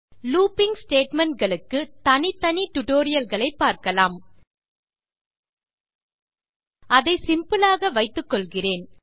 looping statement களுக்கு தனித்தனி tutorial களை பார்க்கலாம் அதை சிம்பிள் ஆக வைத்துக்கொள்கிறேன்